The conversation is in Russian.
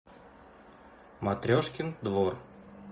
матрешкин двор